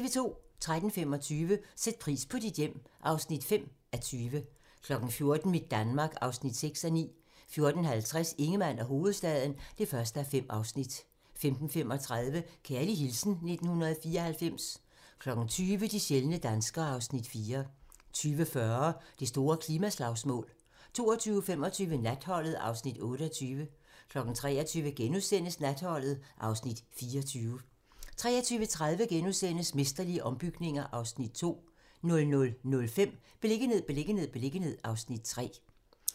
13:25: Sæt pris på dit hjem (5:20) 14:00: Mit Danmark (6:9) 14:50: Ingemann og hovedstaden (1:5) 15:35: Kærlig hilsen 1994 20:00: De sjældne danskere (Afs. 4) 20:40: Det store klimaslagsmål 22:25: Natholdet (Afs. 28) 23:00: Natholdet (Afs. 24)* 23:30: Mesterlige ombygninger (Afs. 2)* 00:05: Beliggenhed, beliggenhed, beliggenhed (Afs. 3)